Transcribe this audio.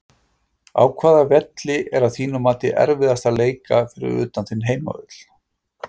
Á hvaða velli er að þínu mati erfiðast að leika fyrir utan þinn heimavöll?